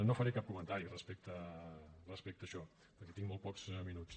no faré cap comentari respecte a això perquè tinc molt pocs minuts